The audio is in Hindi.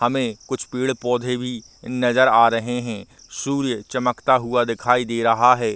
हमें कुछ पेड़-पौधे भी नज़र आ रहे हैं सूर्य चमकता हुआ दिखाई दे रहा है।